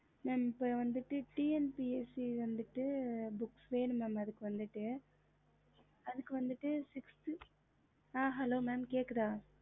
mam இப்போ வந்துட்டு tnpcs வந்துட்டு book வேணும் mam அதுக்கு வந்துட்டு mam hello mam கேக்குதா அதுக்கு வந்துட்டு sixth அ hello mam கேக்குதா